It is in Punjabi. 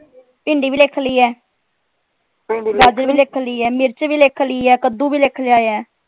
ਭਿੰਡੀ ਭੀ ਲਿਖ ਲਈ ਹੈ ਗਾਜਰ ਵੀ ਲਿਖ ਲਈ ਹੈ ਮਿਰਚ ਵੀ ਲਿਖ ਲਈ ਹੈ ਕਦੂ ਵੀ ਲਿਖ ਲਿਆ ਹੈ